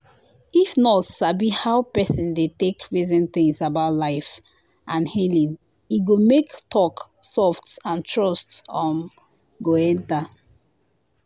if nurse sabi how person dey take reason things about life and healing e go make talk soft and trust um go enter.